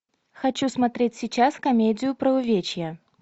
хочу смотреть сейчас комедию про увечья